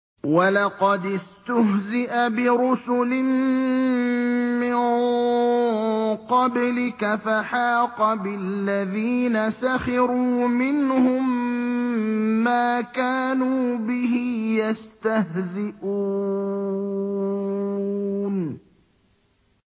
وَلَقَدِ اسْتُهْزِئَ بِرُسُلٍ مِّن قَبْلِكَ فَحَاقَ بِالَّذِينَ سَخِرُوا مِنْهُم مَّا كَانُوا بِهِ يَسْتَهْزِئُونَ